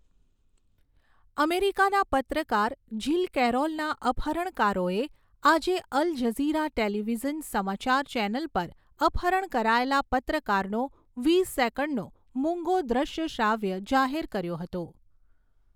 અમેરિકાના પત્રકાર જીલ કેરોલના અપહરણકારોએ આજે અલ જઝીરા ટેલિવિઝન સમાચાર ચેનલ પર અપહરણ કરાયેલા પત્રકારનો વીસ સેકન્ડનો મૂંગો દ્રશ્યશ્રાવ્ય જાહેર કર્યો હતો.